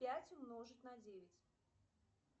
пять умножить на девять